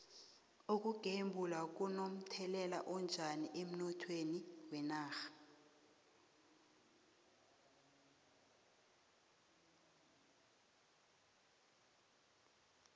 ukugembula kuno mthelela onjani emnothweni wenarha